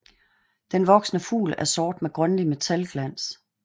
Den voksne fugl er sort med grønlig metalglans